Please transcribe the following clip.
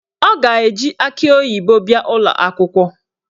O ga-eji akị oyibo bịa ụlọakwụkwọ